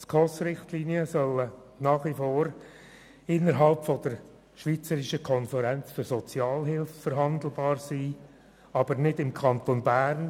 Die SKOSRichtlinien sollen nach wie vor innerhalb der SKOS verhandelbar sein, mit der SHG-Revision jedoch nicht hier im Kanton Bern.